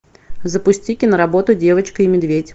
запусти киноработу девочка и медведь